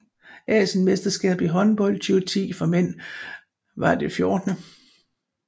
Asienmesterskabet i håndbold 2010 for mænd var det 14